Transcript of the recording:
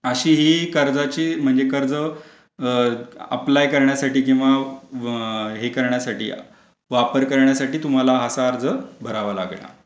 अशी ही कर्जाचे म्हणजे कर्ज अप्लाय करण्यासाठी किंवा हे करण्यासाठी वापर करण्यासाठी तुम्हाला असा अर्ज भरावा लागेल.